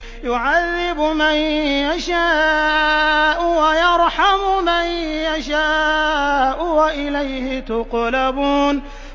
يُعَذِّبُ مَن يَشَاءُ وَيَرْحَمُ مَن يَشَاءُ ۖ وَإِلَيْهِ تُقْلَبُونَ